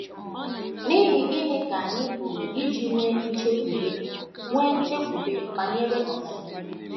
N’ihi gịnị ka anyị pụrụ iji nwee nchekwube nwee nchekwube banyere ọdịnihu?